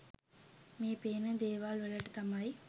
මේ පේන දේවල් වලට තමයි